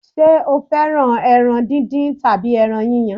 Ṣé o fẹ́ràn ẹran díndín tàbí ẹran yíyan?